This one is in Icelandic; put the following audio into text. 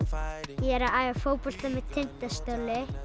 ég er að æfa fótbolta með Tindastóli